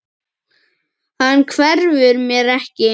Hann hverfur mér ekki.